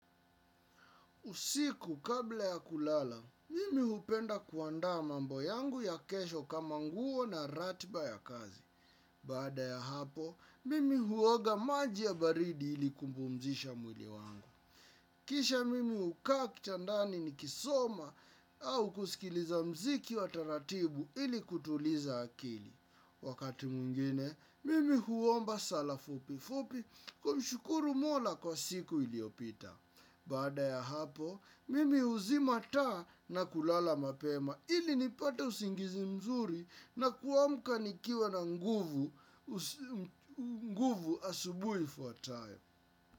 Usiku kabla ya kulala, mimi hupenda kuandaa mambo yangu ya kesho kama nguo na ratiba ya kazi. Baada ya hapo, mimi huoga maji ya baridi ili kuupumzisha mwili wangu. Kisha mimi hukaa kitandani nikisoma au kusikiliza muziki wa taratibu ili kutuliza akili. Wakati mwingine, mimi huomba sala fupi fupi kumshukuru mola kwa siku iliopita. Baada ya hapo, mimi huzima taa na kulala mapema ili nipata usingizi mzuri na kuamka nikiwa na nguvu asubuhi ifuatayo.